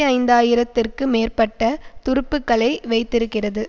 ஐந்து ஆயிரம் திற்கு மேற்பட்ட துருப்புக்களை வைத்திருக்கிறது